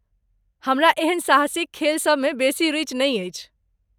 हमरा एहन साहसिक खेलसभ मे बेसी रुचि नहि अछि।